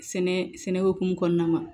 Sɛnɛ sɛnɛ hokumu kɔnɔna na